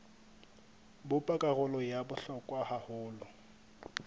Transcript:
bopa karolo ya bohlokwa haholo